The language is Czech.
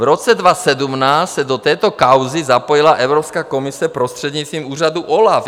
V roce 2017 se do této kauzy zapojila Evropská komise prostřednictvím úřadu OLAF.